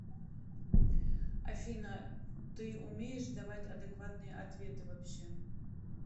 афина ты умеешь давать адекватные ответы вообще